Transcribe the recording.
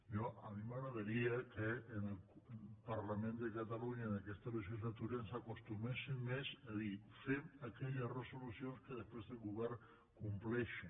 jo a mi m’agradaria que el parlament de catalunya en aquesta legislatura ens acostuméssim més a dir fem aquelles resolucions que després el govern compleixi